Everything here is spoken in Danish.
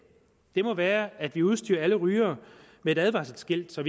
må være at vi udstyrer alle rygere med et advarselsskilt så